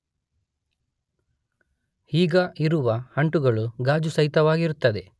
ಈಗ ಇರುವ ಅಂಟುಗಳು ಗಾಜು ಸಹಿತವಾಗಿರುತ್ತದೆ